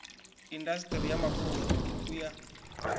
indasiṱiri ya mafulufulu u ya